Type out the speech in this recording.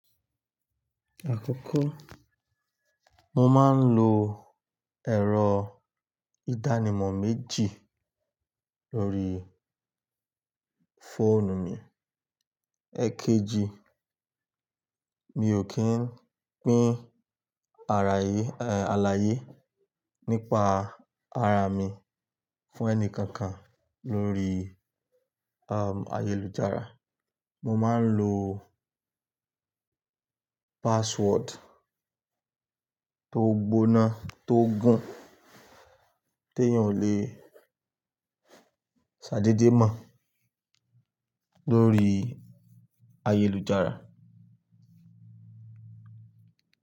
Àkọ́kọ́, mo máa ń lo ẹ̀rọ ìdánimọ̀ méjì lórí fóònù mi. Èkejì, mi ò kí ń pín alaye nípa ara mi fún ẹni kankan lórí ayélujára. Mo máa ń lo password tó gbóná gán, tí èèyàn ò le ṣàdedémọ̀ lórí ayélujára.